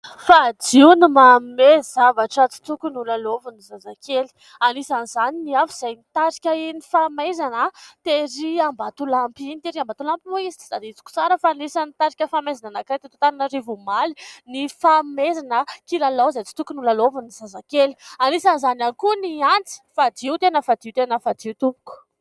Fadio ny manome zavatra tsy tokon'ny ho lalaovin'ny zazakely. Anisan'izany ny afo izay nitarika iny fahamaizana terỳ Ambatolampy iny. Terỳ Ambatolampy moa izy tsy tadidiko tsara fa anisan'ny nitarika fahamaizana anankiray teto Antananarivo omaly ny fanomezana kilalao izay tsy tokony ho lalaovin'ny zazakely. Anisan'izany ihany koa ny antsy fadio, tena fadio, tena fadio tompoko.